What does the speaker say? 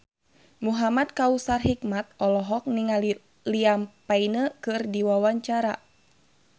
Muhamad Kautsar Hikmat olohok ningali Liam Payne keur diwawancara